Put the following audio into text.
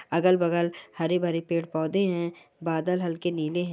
अगल-बगल हरे-भरे पेड़-पौधे है बादल हल्के नीले है।